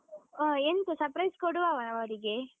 ಹ, ಎಂತ surprise ಕೊಡುವವ ಅವರಿಗೆ?